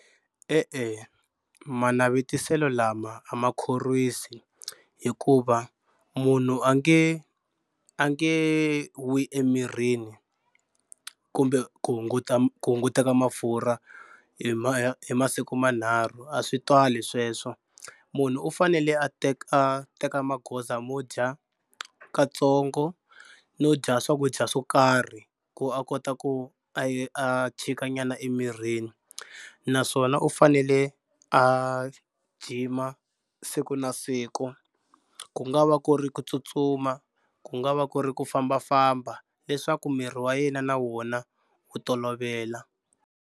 E-e manavetiselo lama a ma khorwisi hikuva munhu a nge a nge wi emirini kumbe ku hunguta ku hunguteka mafurha hi ma hi masiku manharhu a swi twali sweswo. Munhu u fanele a teka a teka magoza mo dya katsongo no dya swakudya swo karhi ku a kota ku a a chika nyana emirini naswona u fanele a gym-a siku na siku ku nga va ku ri ku tsutsuma, ku nga va ku ri ku fambafamba leswaku miri wa yena na wona wu tolovela.